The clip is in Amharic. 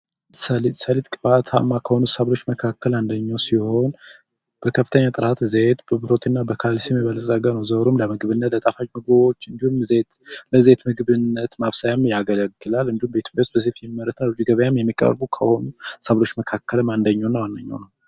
ሰሊጥ፡ ሰሊጥ ቅባታማ ከሆኑ ሰብሎች መካከል አንደኛው ነው። በከፍተኛ ብረትና ካልሲየም የበለፀገ ለጣፋጭ ምግቦች ለዘይት ምግብ ማብሰያ የሚያገለግላል በቤት ውስጥ ይመረታል ወደ ገበያ ከሚቀርቡ ሰብሎች መካከልም አንዱና ዋነኛው ነው።